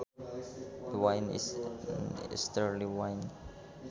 The wind is an easterly wind